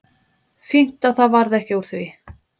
Fínt að það varð ekki úr því.